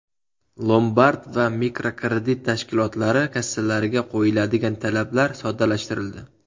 Lombard va mikrokredit tashkilotlari kassalariga qo‘yiladigan talablar soddalashtirildi.